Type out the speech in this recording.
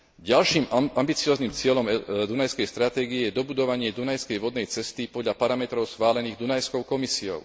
Ďalším ambicióznym cieľom Dunajskej stratégie je dobudovanie dunajskej vodnej cesty podľa parametrov schválených Dunajskou komisiou.